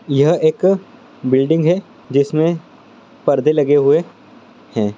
यह एक बिल्डिंग है जिसमे परदे लगे हु है।